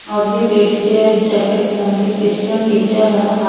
और ये लेडिजे हैं जैकेट पहन के क्रिश्चियन टीचर हैं हा--